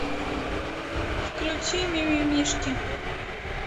включи мимимишки